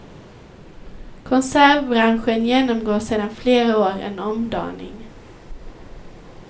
Konservbranschen genomgår sedan flera år en omdaning.